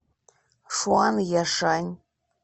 шуанъяшань